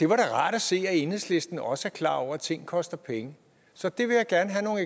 var rart at se at enhedslisten også er klar over at ting koster penge så det vil jeg gerne have